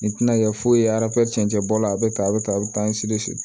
Nin tɛna kɛ foyi ye arsɛncɛbɔla a bɛ tan a bɛ tan a bɛ tan